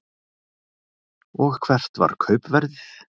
Og hvert var kaupverðið?